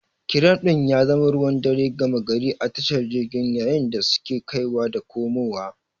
Kiram din ya zama ruwan dare gama gari a tashar jirgin yayin da suke kaiwa da komowa.